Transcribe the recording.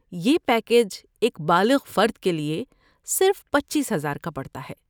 یہ پیکیج ایک بالغ فرد کے لیے صرف پچیس ہزار کا پڑتا ہے